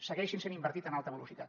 segueixin sent invertits en alta velocitat